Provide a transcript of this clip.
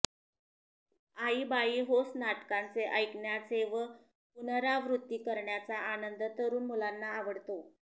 आईबाई होस नाटकांचे ऐकण्याचे व पुनरावृत्ती करण्याचा आनंद तरुण मुलांना आवडतो